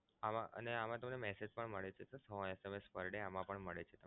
આમા અને આમા તમને message પણ મળે છે sir સો SMS per day આમા પણ મળે છે.